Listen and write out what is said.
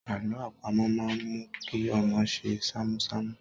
Àlọ́ àpamọ̀ máa ń mú kí ọmọ ṣe ṣámúṣámú.